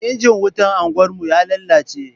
Injin wutan anguwarmu ya lalace.